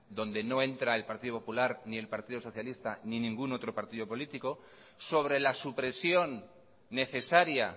donde no entra el partido popular ni el partido socialista ni ningún otro partido político sobre la supresión necesaria